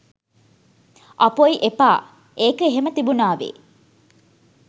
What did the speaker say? "අපොයි එපා! ඒක එහෙම තිබුණාවේ